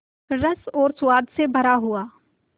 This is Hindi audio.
रस और स्वाद से भरा हुआ